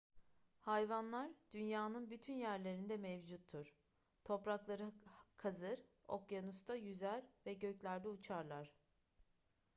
hayvanlar dünyanın bütün yerlerinde mevcuttur toprakları kazır okyanusta yüzer ve göklerde uçarlar